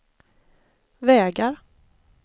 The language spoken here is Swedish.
vägar